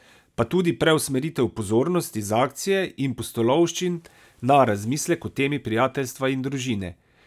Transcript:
Pa tudi preusmeritev pozornosti z akcije in pustolovščin na razmislek o temi prijateljstva in družine.